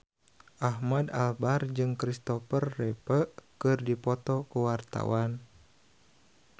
Ahmad Albar jeung Kristopher Reeve keur dipoto ku wartawan